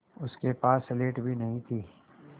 उसके पास स्लेट भी नहीं थी